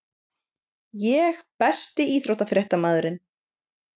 Ég Besti íþróttafréttamaðurinn?